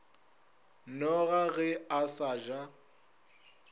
noga ge a sa ja